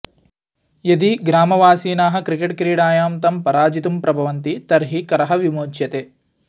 यदि ग्रामवासीनाः क्रिकेटक्रीडायां तं पराजितुं प्रवभन्ति तर्हिः करः विमोच्यते